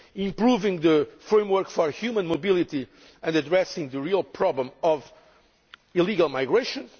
improving the framework for human mobility and addressing the real problem of illegal migration